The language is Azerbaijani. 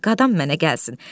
Bala, qadam mənə gəlsin.